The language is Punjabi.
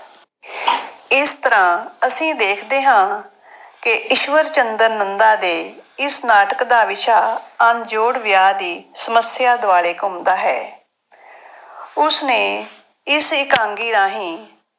ਇਸ ਤਰ੍ਹਾਂ ਅਸੀਂ ਦੇਖਦੇ ਹਾਂ ਕਿ ਈਸ਼ਵਰ ਚੰਦਰ ਨੰਦਾ ਦੇ ਇਸ ਨਾਟਕ ਦਾ ਵਿਸ਼ਾ ਅਣਜੋੜ ਵਿਆਹ ਦੀ ਸਮੱਸਿਆ ਦੁਆਲੇ ਘੁੰਮਦਾ ਹੈ ਉਸ ਨੇ ਇਸ ਇਕਾਂਗੀ ਰਾਹੀਂ